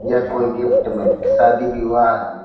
यह कोई गिफ्ट में शादी विवाह --